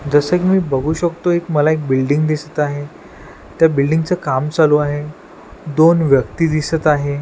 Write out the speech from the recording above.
जसं की मी बघू शकतोय एक मला एक बिल्डिंग दिसत आहे त्या बिल्डिंग चं काम चालू आहे दोन व्यक्ती दिसत आहे.